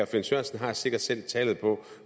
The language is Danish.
finn sørensen har sikkert selv tallet på